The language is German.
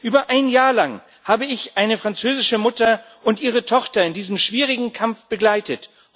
Über ein Jahr lang habe ich eine französische Mutter und ihre Tochter in diesem schwierigen Kampf begleitet.